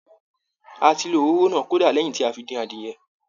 A ti lo òróró náà, kódà lẹ́yìn tí a fi dín adìyẹ.